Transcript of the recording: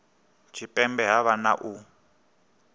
tshipembe ha vha na u